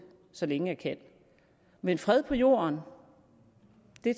så længe jeg kan men fred på jorden